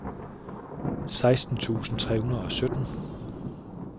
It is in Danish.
seksten tusind tre hundrede og sytten